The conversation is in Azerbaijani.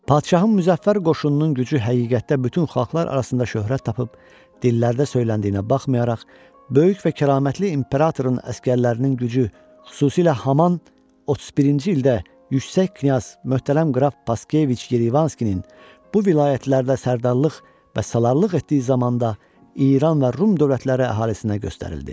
Padşahın müzəffər qoşununun gücü həqiqətdə bütün xalqlar arasında şöhrət tapıb dillərdə söyləndiyinə baxmayaraq, böyük və kəramətli İmperatorun əsgərlərinin gücü, xüsusilə Haman 31-ci ildə yüksək knyaz möhtərəm Qraf Vaskeviç Yerevanskinin bu vilayətlərdə sərdarlıq və salarlıq etdiyi zamanda İran və Rum dövlətləri əhalisinə göstərildi.